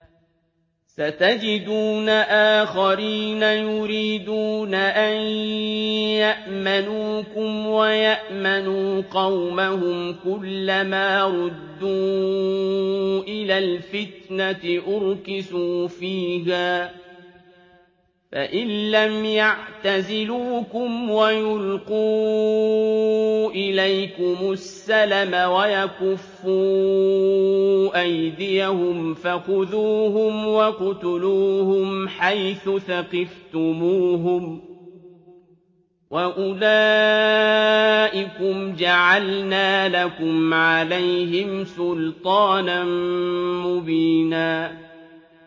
سَتَجِدُونَ آخَرِينَ يُرِيدُونَ أَن يَأْمَنُوكُمْ وَيَأْمَنُوا قَوْمَهُمْ كُلَّ مَا رُدُّوا إِلَى الْفِتْنَةِ أُرْكِسُوا فِيهَا ۚ فَإِن لَّمْ يَعْتَزِلُوكُمْ وَيُلْقُوا إِلَيْكُمُ السَّلَمَ وَيَكُفُّوا أَيْدِيَهُمْ فَخُذُوهُمْ وَاقْتُلُوهُمْ حَيْثُ ثَقِفْتُمُوهُمْ ۚ وَأُولَٰئِكُمْ جَعَلْنَا لَكُمْ عَلَيْهِمْ سُلْطَانًا مُّبِينًا